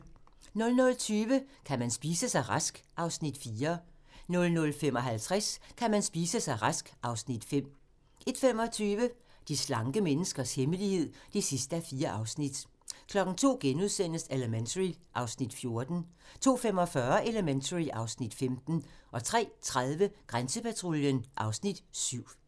00:20: Kan man spise sig rask? (Afs. 4) 00:55: Kan man spise sig rask? (Afs. 5) 01:25: De slanke menneskers hemmelighed (4:4) 02:00: Elementary (Afs. 14)* 02:45: Elementary (Afs. 15) 03:30: Grænsepatruljen (Afs. 7)